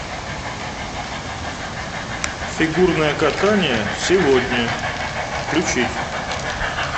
фигурное катание сегодня включить